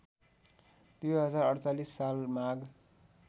२०४८ साल माघ